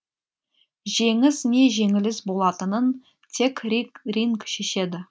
жеңіс не жеңіліс болатынын тек ринг шешеді